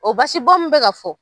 O basi bɔn min bɛ ka fɔ